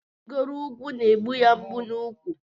Irigo ugwu n'egbu ya mgbu n'úkwu.